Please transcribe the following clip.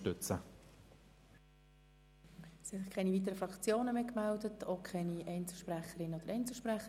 Es haben sich keine weiteren Fraktionen oder Einzelsprecher gemeldet.